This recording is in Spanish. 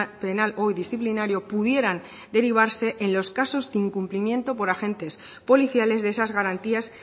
penal o disciplinario pudieran derivarse en los casos de incumplimiento por agentes policiales de esas garantías